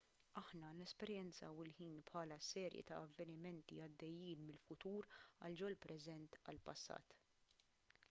aħna nesperjenzaw il-ħin bħala serje ta' avvenimenti għaddejjin mill-futur għal ġol-preżent għall-passat